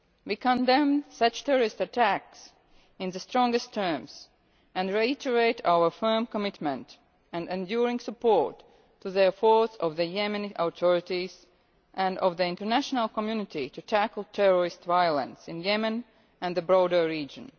We condemn such terrorist attacks in the strongest terms and reiterate our firm commitment and enduring support to the efforts of the Yemeni authorities and of the international community to tackle terrorist violence, in Yemen and the broader region.